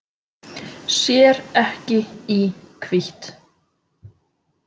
Sér ekki í hvítt.